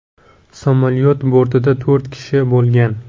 Samolyot bortida to‘rt kishi bo‘lgan.